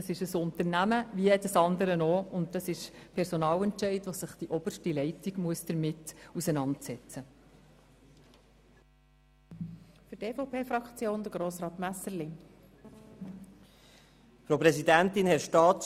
Das ist ein Unternehmen, wie jedes andere auch, und mit den Personalentscheiden eines Unternehmens muss sich allein dessen oberste Leitung auseinandersetzen.